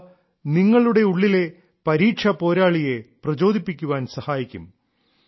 അവ നിങ്ങളുടെ ഉള്ളിലെ പരീക്ഷാ പോരാളിയെ പ്രചോദിപ്പിക്കാൻ സഹായിക്കും